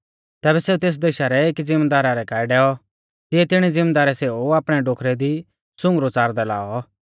तैबै सेऊ तेस देशा रै एकी ज़िमदारा रै काऐ डैऔ तिऐ तिणी ज़िमदारै सेऊ आपणै डोखरै दी सुंगरु च़ारदै लाऔ